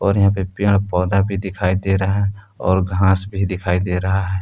और यहाँ पर पेड़ पौधा भी दिखाई दे रहा है और घास भी दिखाई दे रहा है।